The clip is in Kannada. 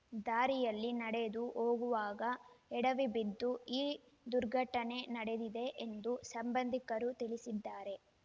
ದಾರಿಯಲ್ಲಿ ನಡೆದು ಹೋಗುವಾಗ ಎಡವಿ ಬಿದ್ದು ಈ ದುರ್ಘಟನೆ ನಡೆದಿದೆ ಎಂದು ಸಂಬಂಧಿಕರು ತಿಳಿಸಿದ್ದರು